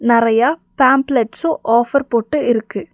நெறைய pamphlets offer போட்டு இருக்கு.